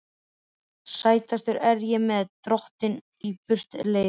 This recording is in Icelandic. Sætastur ertu mér, Drottinn, á burtleið.